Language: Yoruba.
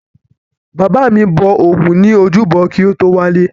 Bàbá mi bọ ògún ní ojúbọ kí o tó wálé.